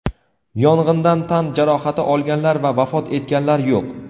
Yong‘indan tan jarohati olganlar va vafot etganlar yo‘q.